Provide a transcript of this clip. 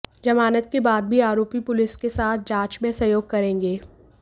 जमानत के बाद भी आरोपी पुलिस के साथ जांच में सहयोग करेंगे